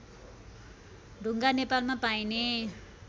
टुङ्गा नेपालमा पाइने